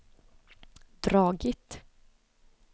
dragit